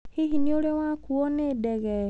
Hihi nĩ ũrĩ wakuo nĩ ndege?